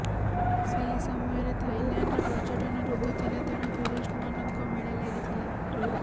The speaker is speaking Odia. ସେହି ସମୟରେ ଥାଇଲ୍ୟାଣ୍ଡରେ ପର୍ଯ୍ୟଟନ ଋତୁ ଥିଲା ତେଣୁ ଟୁରୁଷ୍ଟମାନଙ୍କ ମେଳା ଲାଗିଥିଲା